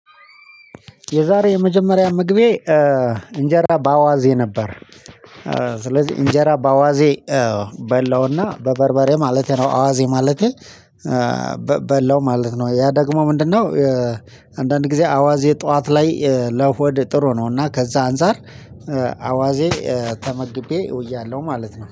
የዛሬ የመጀመሪያ ምግቤ እንጀራ በአዋዜ ነበር። ስለዚህ እንጀራ በአዋዜ በላውና በበርበሬ ማለቴ ነው አዋዜ ማለቴ በላው ማለት ነው። ያ ደግሞ ምንድነው? አንዳንድ ጊዜ አዋዜ ጠዋት ላይ ለሆድ ጥሩ ነው። እና ከዛ አንፃር አዋዜ ተመግቤ ውያለሁ ማለት ነው